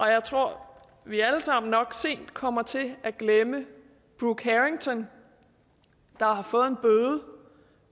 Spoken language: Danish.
jeg tror også vi alle sammen nok sent kommer til at glemme brooke harrington der har fået en bøde